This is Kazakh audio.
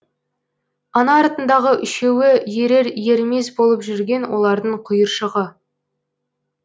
ана артындағы үшеуі ерер ермес болып жүрген олардың құйыршығы